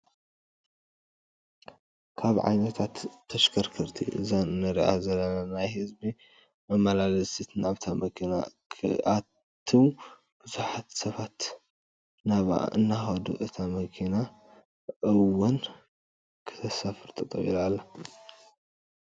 ካብ ዓይነታት ተሽከርከርቲ እዛ እንሪኣ ዘለና ናይ ህዝቢ መመላለሲት ናብታ መኪና ክኣትው ብዙሓት ሰባተ ናብኣ እንዳከዱ እታ መኪና እወን ክተሳፍር ጠጠው ኢላ ኣላ።